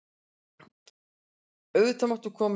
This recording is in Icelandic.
Auðvitað máttu koma inn.